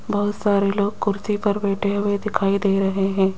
बहुत सारे लोग कुर्सी पर बैठे हुए दिखाई दे रहे हैं।